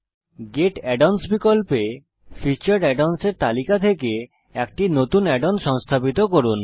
gate add ons বিকল্পে featured add ons এর তালিকা থেকে একটি নতুন add ওন সংস্থাপিত করুন